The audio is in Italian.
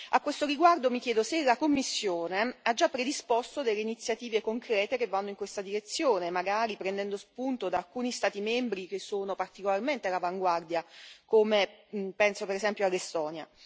A questo riguardo mi chiedo se la Commissione ha già predisposto delle iniziative concrete che vanno in questa direzione, magari prendendo spunto da alcuni Stati membri che sono particolarmente all'avanguardia, come ad esempio l'Estonia.